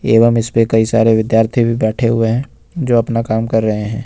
एवं इस पे कई सारे विद्यार्थी भी बैठे हुए हैं जो अपना काम कर रहे हैं।